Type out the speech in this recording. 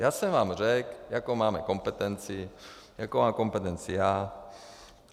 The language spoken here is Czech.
Já jsem vám řekl, jakou máme kompetenci, jakou mám kompetenci já.